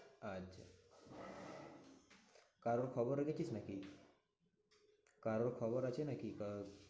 আজ কারোর খবর রেখেছিস নাকি? কারোর খবর আছে নাকি? কার?